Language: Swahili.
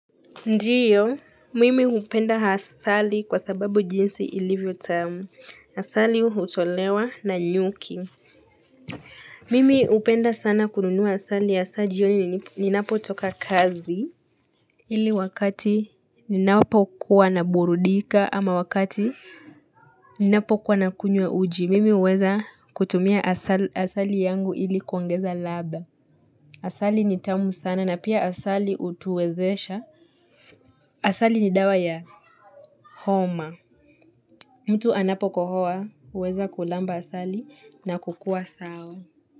Ndiyo, mimi hupenda asali kwa sababu jinsi ilivyo tamu, asali hutolewa na nyuki. Mimi hupenda sana kununua asali haswa jioni ninapo toka kazi. Ili wakati ninapo kuwa na burudika ama wakati ninapo kuwa na kunywa uji, mimi huweza kutumia hasali yangu ili kuongeza ladha. Asali ni tamu sana na pia asali hutuwezesha. Asali ni dawa ya homa. Mtu anapokohoa, huweza kulamba asali na kukua sawa.